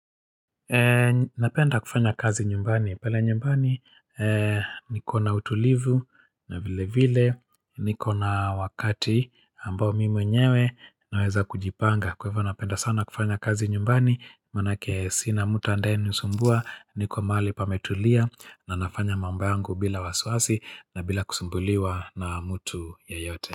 Napenda kufanya kazi nyumbani. Pale nyumbani nikona utulivu na vile vile. Nikona wakati ambao mimi mwenyewe naweza kujipanga. Kwa hivyo napenda sana kufanya kazi nyumbani. Maanake sina mtu ambaye anisumbua niko mahali pametulia na nafanya mambo yangu bila wasiwasi na bila kusumbuliwa na mtu yeyote.